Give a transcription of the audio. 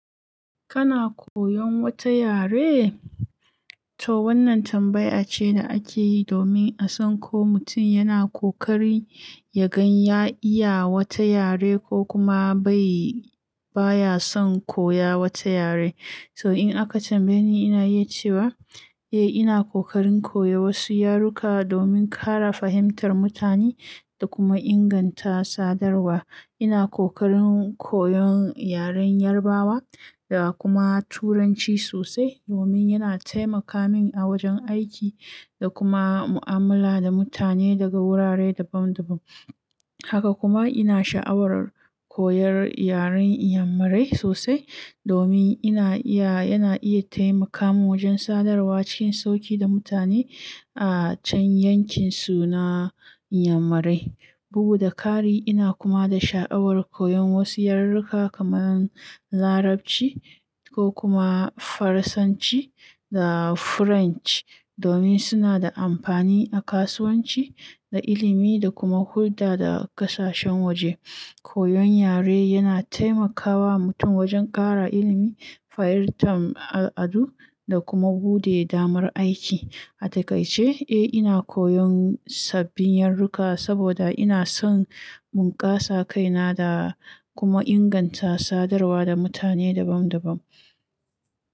Kana koyon wata yare? To wannan tambaya ce da ake yi domin a san ko mutum yana ƙoƙari yagan ya iya wata yare ko kuma bai, baya son koya wata yare. So in aka tambaye ni, ina yi cewa eh ina ƙoƙarin koya wasu yaruka domin ƙara fahimtar mutane da kuma inganta sadarwa. Ina ƙoƙarin koyon yaren Yarbawa da kuma Turanci sosai domin yana taimaka min a wajen aiki da kuma mu'amala da mutane daga wurare daban-daban. Haka kuma ina sha'awar koyar yaren Inyamurai sosai domin ina iya, yana iya taimaka min wajen sadarwa cikin sauƙi da mutane a can yankinsu na Inyamurai. Buga da ƙari ina kuma da sha'awar koyon wasu yaruruka kamar Larabci ko kuma Faransanci da French domin suna da amfani a kasuwanci da ilimi da kuma hulɗa da ƙasashen waje. Koyon yare yana taimakawa mutum wajen ƙara ilimi, fahimtar al'adu da kuma buɗe damar aiki. A takaice, eh ina koyon sabbin yaruruka saboda ina son bunkasa kaina da kuma inganta sadarwa da mutane daban-daban.